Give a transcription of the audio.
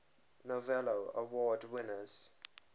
novello award winners